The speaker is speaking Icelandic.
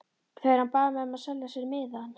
Þegar hann bað mig að selja sér miðann.